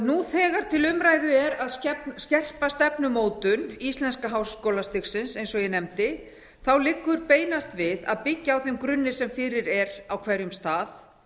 nú þegar til umræðu er að skerpa stefnumótun íslenska háskólastigsins eins og ég nefndi liggur beinast við að byggja á þeim grunni sem fyrir er á hverjum stað